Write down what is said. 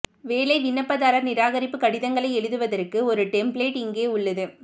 வேலை விண்ணப்பதாரர் நிராகரிப்பு கடிதங்களை எழுதுவதற்கு ஒரு டெம்ப்ளேட்டு இங்கே உள்ளது